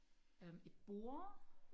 øhm et bord